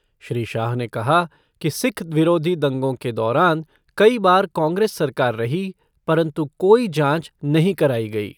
श्री शाह ने कहा कि सिक्ख विरोधी दंगों के दौरान कई बार कांग्रेस सरकार रही, परन्तु कोई जांच नहीं कराई गई।